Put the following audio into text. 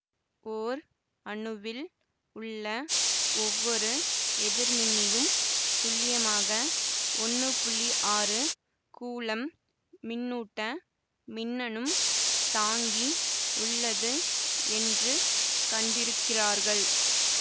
ஓர் அணுவில் உள்ள ஒவ்வொரு எதிர்மின்னியும் துல்லியமாக ஒன்னு புள்ளி ஆறு கூலம் மின்னூட்ட மின்னனும் தாங்கி உள்ளது என்று கண்டிருக்கிறார்கள்